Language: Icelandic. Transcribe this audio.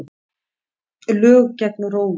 Lög gegn rógi